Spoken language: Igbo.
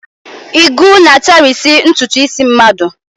Ìgwu na-atarisi ntụtụ isi mmadụ.